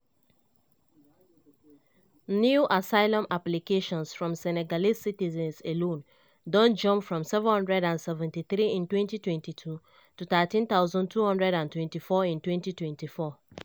new asylum applications from senegalese citizens alone don jump from 773 in 2022 to 13224 in 2024.